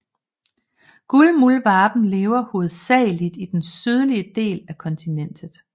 Guldmuldvarpen lever hovedsageligt i den sydlige del af kontinentet